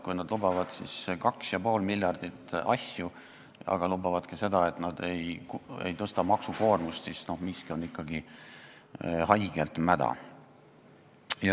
Kui nad lubavad 2,5 miljardi euro eest igasuguseid asju ning lubavad ka seda, et nad ei tõsta maksukoormust, siis miski on ikkagi haigelt mäda.